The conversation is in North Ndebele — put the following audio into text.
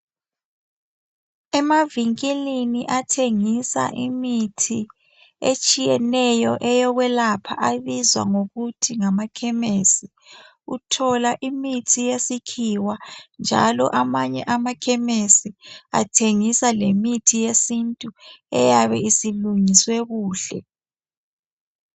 Emavinkilini athengisa imithi etshiyeneyo eyokwelapha abizwa ngokuthi ngamakhemesi. Uthola imithi yesikhiwa, njalo amanye amakhemesi, athengisa lemithi yesintu, eyabesilungiswe kuhle.